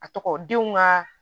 A tɔgɔ denw ka